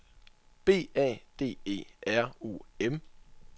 B A D E R U M